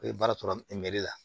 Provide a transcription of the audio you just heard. E ye baara sɔrɔ la